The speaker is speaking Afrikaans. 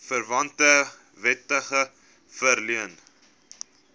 verwante wetgewing verleen